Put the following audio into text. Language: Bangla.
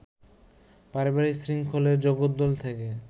পারিবারিক শৃঙ্খলের জগদ্দল থেকে